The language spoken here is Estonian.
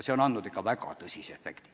See on andnud ikka väga suure efekti.